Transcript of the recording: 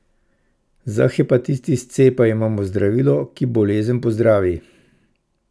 Za hepatitis C pa imamo zdravilo, ki bolezen pozdravi!